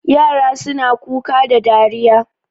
Yara suna Kuka da dariya